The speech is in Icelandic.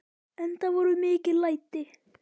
Enda voru mikil læti.